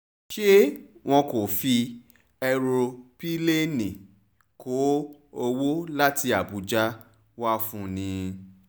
ṣé wọn kò fi èròńpilẹ̀ẹ́ni kó owó láti àbújá wá fún un ni